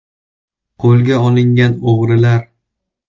Qo‘lga olingan o‘g‘rilar.